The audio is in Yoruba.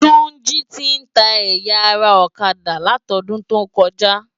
Tunji ti n tá ëyá ara òkadá látòdúntókòjá